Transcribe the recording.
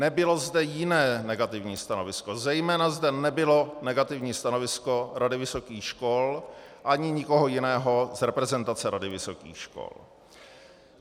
Nebylo zde jiné negativní stanovisko, zejména zde nebylo negativní stanovisko Rady vysokých škol ani nikoho jiného z reprezentace Rady vysokých škol.